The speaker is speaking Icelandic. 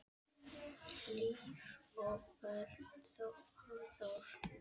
Hlíf og Björn Hafþór.